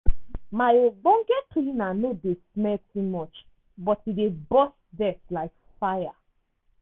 my ogbonge cleaner no dey smell too much but e dey burst dirt like tire.